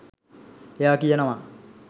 එයා කියනවා